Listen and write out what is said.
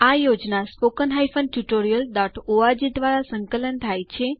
આ project httpspoken tutorialorg દ્વારા સંકલન થાય છે